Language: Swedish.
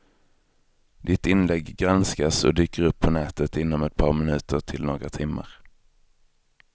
Ditt inlägg granskas och dyker upp på nätet inom ett par minuter till några timmar.